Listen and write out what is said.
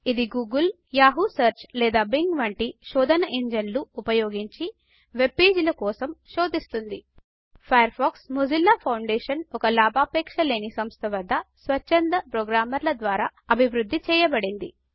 ఇది Google Yahoo search లేదా Bing వంటి శోధన ఇంజిన్లు ఉపయోగించి వెబ్ పేజీల కోసం శోధిస్తుం ఫయర్ ఫాక్స్ మొజిల్లా ఫౌండేషన్ ఒక లాభాపేక్ష లేని సంస్థ వద్ద స్వచ్ఛంద ప్రోగ్రామర్ల ద్వారా అభివృద్ధి చేయబడింది